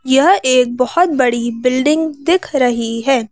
यह एक बहुत बड़ी बिल्डिंग दिख रही है।